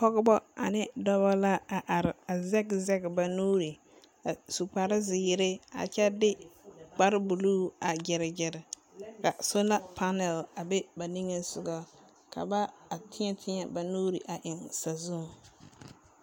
Pɔgeba ane dɔba la a are a zɛge zɛge ba nuuri, a su kparezeere a kyɛ de kparebuluu a gyere gyere ka sola panɛl a be ba niŋesogɔ ka ba a tẽɛ tẽɛ ba nuuri a eŋ sazuŋ.